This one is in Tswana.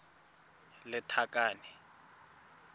lethakane